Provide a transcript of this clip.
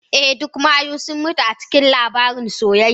Eh, duk mayu sun mutu a cikin labarin soyayya.